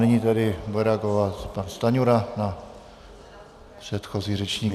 Nyní tedy bude reagovat pan Stanjura na předchozí řečníky.